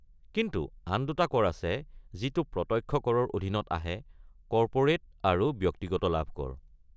কিন্তু আন দুটা কৰ আছে যিটো প্ৰত্যক্ষ কৰৰ অধীনত আহে; কৰ্পোৰেট আৰু ব্যক্তিগত লাভ কৰ।